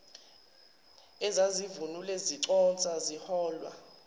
ezazivunule ziconsa ziholwa